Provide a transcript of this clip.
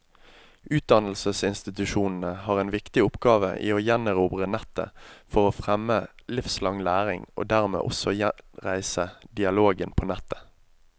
Utdannelsesinstitusjonene har en viktig oppgave i å gjenerobre nettet for å fremme livslang læring, og dermed også gjenreise dialogen på nettet.